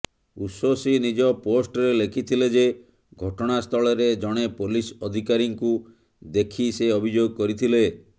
ଉଶୋସି ନିଜ ପୋଷ୍ଟରେ ଲେଖିଥିଲେ ଯେ ଘଟଣାସ୍ଥଳରେ ଜଣେ ପୋଲିସ ଅଧିକାରୀଙ୍କୁ ଦେଖି ସେ ଅଭିଯୋଗ କରିଥିଲେ